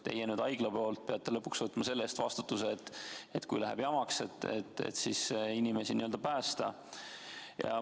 Teie, haigla poolt peate aga lõpuks võtma vastutuse selle eest, et kui läheb jamaks, siis saaks inimesi päästa.